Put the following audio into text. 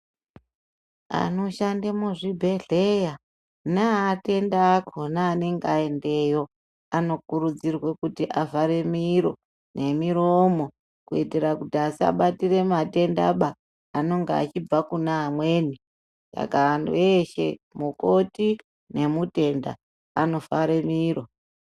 Anoshande muzvibhedhleya neaatendi akona anenge aendeyo anokurudzirwa kuti avhero miro memiromo kuitira kuti asabatire matendaba anonga achibva kuna amweni saka antu eshe mukoti , nemutenda anofanirwa